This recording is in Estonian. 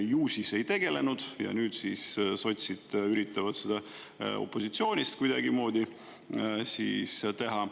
Ju siis ei tegelenud ja nüüd siis sotsid üritavad seda opositsioonist kuidagimoodi teha.